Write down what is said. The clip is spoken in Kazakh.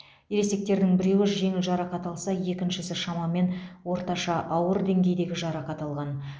ересектердің біреуі жеңіл жарақат алса екіншісі шамамен орташа ауыр деңгейдегі жарақат алған